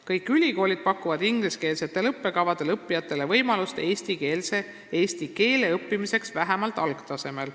Kõik ülikoolid pakuvad ingliskeelsetel õppekavadel õppijatele võimalust õppida eesti keelt vähemalt algtasemel.